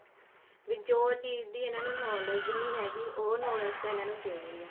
ਵੀ ਜੋ ਚੀਜ਼ ਦੀ ਇਹਨਾ ਨੂੰ knowledge ਹੀ ਹੈਗੀ ਉਹ knowledge ਤਾਂ ਇਹਨਾ ਨੂੰ ਦੇਣੀ ਆ